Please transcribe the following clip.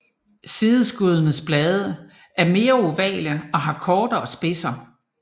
Sideskuddenes blade er mere ovale og har kortere spidser